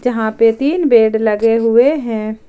यहां पे तीन बेड लगे हुए हैं।